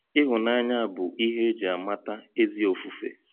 Ịhụnanya bụ ihe e ji amata ezi ofufe.